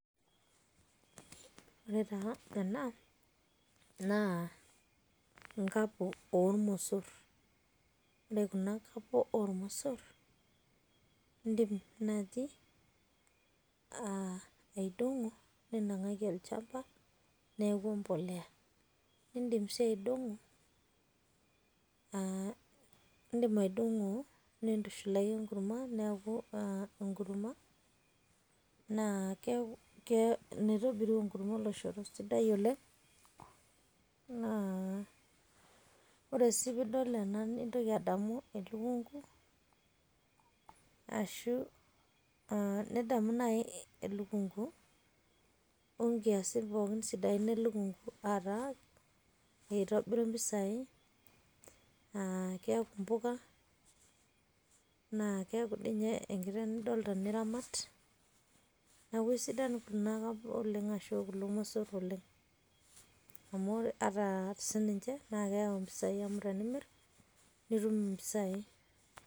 Ore taa ena naa, enkapo oormosor, ore Kuna kapo oo mosorr, iidim naaji aidong'o ninang'aki olnchampa neeku empolea. Eedim sii aidong'o nintushulaki engurma neeku engurma naa keeku kee keitobiru engurma oloshoro sidai oleng', ore sii peidol nintoki adamu elukunku ashu aa nidamu naji elukunku o nkiasin sidai pookin elukunku aa taa, eitobiru keaku aaempuka, keaku enye naayi enkiteng' nidolta niramat neeku asidan Kuna kapo ashu mosorr oleng'. Amu ore sininche naa keou empisai amu tenimirr keau empisai.